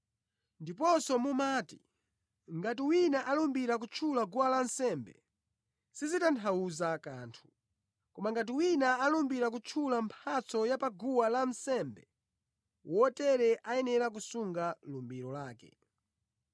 Ndiponso mumati, ‘Ngati wina alumbira kutchula guwa lansembe, sizitanthauza kanthu; koma ngati wina alumbira kutchula mphatso ya paguwa lansembe, wotere ayenera kusunga lumbiro lake.’